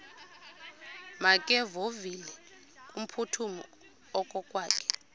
makevovike kumphuthumi okokwakhe